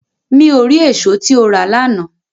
Mi o ri eso ti o ra lana